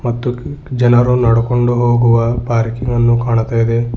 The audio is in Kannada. ಮತ್ತು ಜನರು ನಡ್ಕೊಂಡು ಹೋಗುವ ಪಾರ್ಕಿಂಗ್ ಅನ್ನು ಕಾಣ್ತ ಇದೆ.